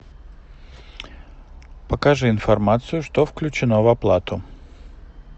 покажи информацию что включено в оплату